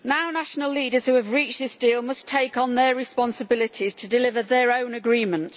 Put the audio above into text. National leaders who have reached this deal must take on their responsibilities to deliver their own agreement.